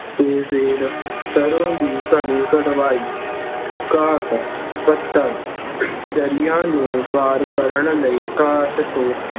ਅਤੇ ਫੇਰ ਸਰੋਂ ਦੀ ਘਾਣੀ ਕਢਵਾਈ। ਘਾਟ - ਪੱਥਰ- ਦਰਿਆ ਨੂੰ ਪਾਰ ਕਰਨ ਲਈ ਘਾਟ ਤੋਂ